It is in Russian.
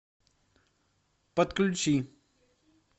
подключи